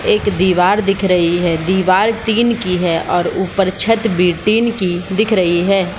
एक दिवार दिख रही है दिवार टीन की है और ऊपर छत भी टीन की दिख रही है ।